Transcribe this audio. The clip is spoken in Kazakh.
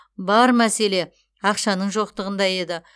бар мәселе ақшаның жоқтығында еді